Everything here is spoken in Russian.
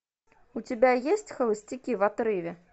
у тебя есть холостяки в отрыве